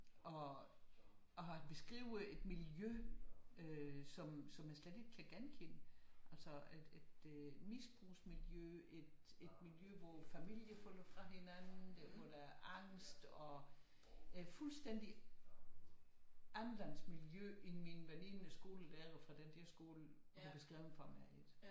Og han beskriver et miljø øh som jeg slet ikke kan genkende altså et misbrugsmiljø et miljø hvor familier falder fra hinanden hvor der er angst og fuldstændig anderledes miljø end min veninde skolelærer fra den der skole har beskrevet for mig